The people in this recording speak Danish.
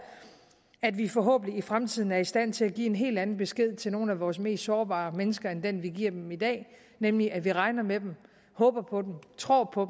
at vi forhåbentlig i fremtiden er i stand til at give en helt anden besked til nogle af vores mest sårbare mennesker end den vi giver dem i dag nemlig at vi regner med dem håber på dem tror på